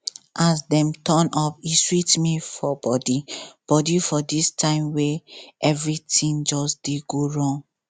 as dem turn up e sweet me for body body for this time wey everything just dey go wrong